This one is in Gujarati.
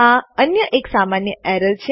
આ અન્ય એક સામાન્ય એરર છે